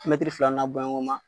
filana n'a boɲanko ma.